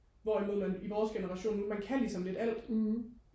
hvorimod man i vores generation nu man kan ligesom lidt alt